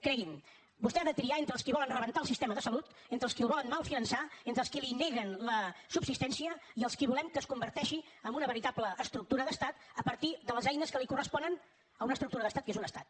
cregui’m vostè ha de triar entre els qui volen rebentar el sistema de salut entre els qui el volen mal finançar entre els qui li neguen la subsistència i els qui volem que es converteixi en una veritable estructura d’estat a partir de les eines que li corresponen a una estructura d’estat que és un estat